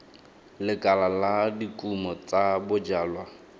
lekala la dikumo tsa bojalwa